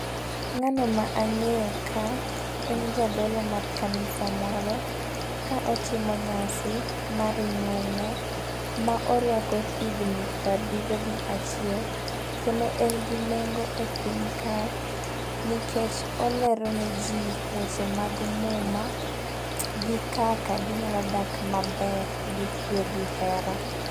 Ng'ano ma ang'eyo ka en jadolo mar kanisa moro .Ka otimo nyasi mar nyuolne ma orwako higni prabiryo gi achiel. Kendo en gi nengo e pinyka nikech olero ne jii weche mag muma gi kaka ginyalo dak maber gi kwe gi hera.